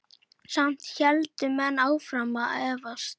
Samt héldu menn áfram að efast.